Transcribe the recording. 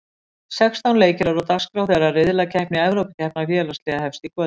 Sextán leikir eru á dagskrá þegar riðlakeppni Evrópukeppni félagsliða hefst í kvöld.